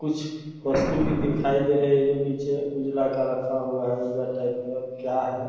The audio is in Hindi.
कुछ वस्तु भी दिखाई दे रहे हैं जो नीचे उजला का रखा हुआ हैं उजला टाइप है क्या है?